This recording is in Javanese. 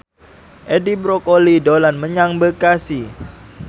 Edi Brokoli dolan menyang Bekasi